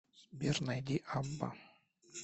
сбер найди абба